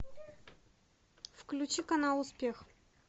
включи канал успех